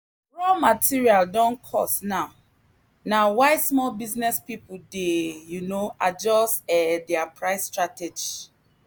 raw material don cost now na why small business people dey dey um adjust um their price strategy.